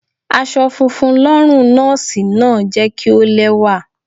Aṣọ funfun lọ́rùn Nọ́ọ́sì náà jẹ́ kí ó lẹ́wà.